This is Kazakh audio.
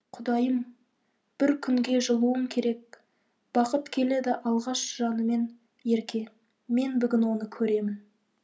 құдайым бір күнге жылуың керек бақыт келеді алғаш жанымен ерке мен бүгін оны көремін